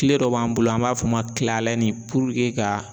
Kile dɔ b'an bolo an b'a f'o ma ka